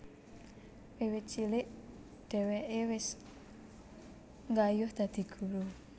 Wiwit cilik dhèwèké wis nggayuh dadi guru